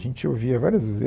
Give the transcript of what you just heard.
A gente ouvia várias vezes.